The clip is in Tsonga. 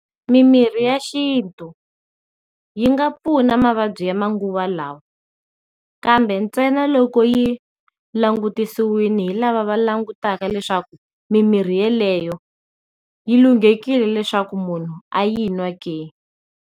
Mimirhi ya xintu yi nga pfuna mavabyi ya manguva lawa kambe ntsena loko yi langutisiwini hi lava va langutaka leswaku mimirhi yeleyo yi lunghekile leswaku munhu a yi nwa ke.